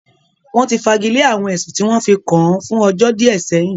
Wọ́n ti fagilé àwọn ẹ̀sùn tí wọ́n fi kàn án fún ọjọ́ díẹ̀ sẹ́yìn